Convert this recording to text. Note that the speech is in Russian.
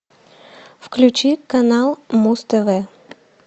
включи канал муз тв